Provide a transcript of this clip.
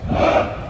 Hopp!